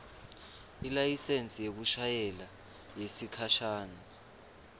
ilayisensi yekushayela yesikhashana